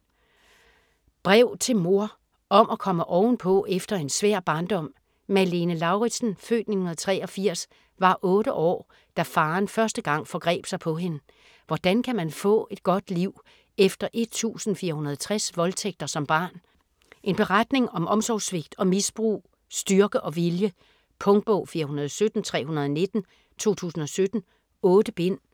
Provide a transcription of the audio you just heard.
Brev til mor: om at komme ovenpå efter en svær barndom Malene Lauritsen (f. 1983) var otte år, da faren første gang forgreb sig på hende. Hvordan kan man få et godt liv efter 1460 voldtægter som barn? En beretning om omsorgssvigt og misbrug, styrke og vilje. Punktbog 417319 2017. 8 bind.